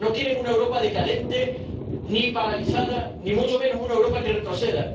No quieren una Europa decadente, ni paralizada, ni mucho menos una Europa que retroceda.